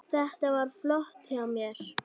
Þetta var flott hjá mér.